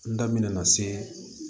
N da mɛna se